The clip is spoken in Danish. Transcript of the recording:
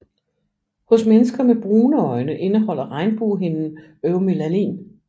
Hos mennesker med brune øjne indeholder regnbuehinden eumelanin